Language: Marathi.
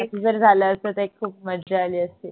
अस जर झाला असत त एक खूप मजा आली असती